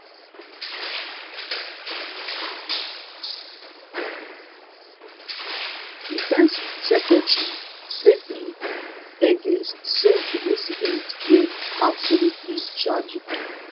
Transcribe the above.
defence secretary pete hegesth say di incident deyabsolutely tragic